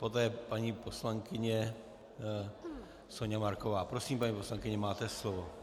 Poté paní poslankyně Soňa Marková, Prosím, paní poslankyně, máte slovo.